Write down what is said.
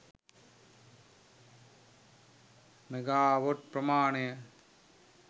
megawatt ප්‍රමාණය